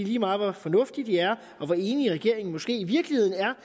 lige meget hvor fornuftige de er og hvor enig regeringen måske i virkeligheden er